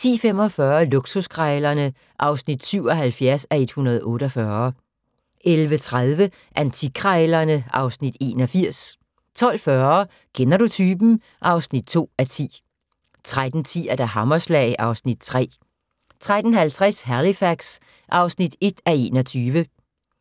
10:45: Luksuskrejlerne (77:148) 11:30: Antikkrejlerne (Afs. 81) 12:40: Kender du typen? (2:10) 13:10: Hammerslag (Afs. 3) 13:50: Halifax (1:21)